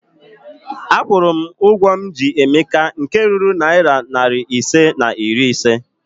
Akwụrụ m ụgwọ m ji Emeka nke ruru narị naịra ise na iri ise